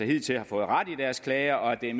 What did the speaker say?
hidtil har fået ret i deres klager og at det er